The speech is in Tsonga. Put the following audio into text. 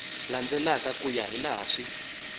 landzelaka ku ya hilaha swi